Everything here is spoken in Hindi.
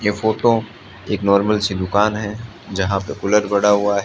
यह फोटो एक नॉर्मल सी दुकान है जहां पे कुलर पड़ा हुआ है।